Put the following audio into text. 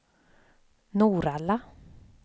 Norrala